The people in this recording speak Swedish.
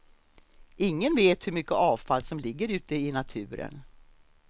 Ingen vet hur mycket avfall som ligger ute i naturen.